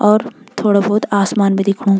और थोडा भोत आसमान भी दिखणु।